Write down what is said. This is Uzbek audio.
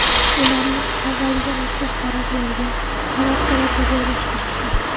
Ularni avvaliga maxsus baraklarga, palatkalarga joylashtirishdi.